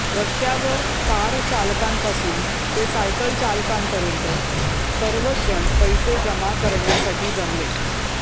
रस्त्यावर कार चालकांपासून ते सायकल चालकांपर्यंत सर्वच जण पैसे जमा करण्यासाठी जमले